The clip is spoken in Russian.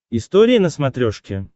история на смотрешке